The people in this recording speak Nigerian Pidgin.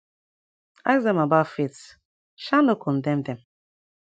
ask dem about faith um no condem dem